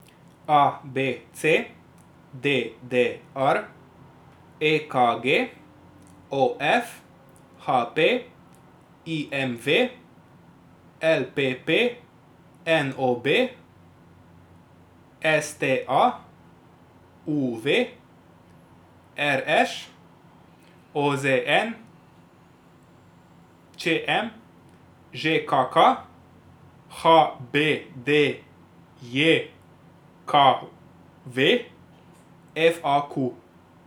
A B C; D D R; E K G; O F; H P; I M V; L P P; N O B; S T A; U V; R Š; O Z N; Č M; Ž K K; H B D J K V; F A Q.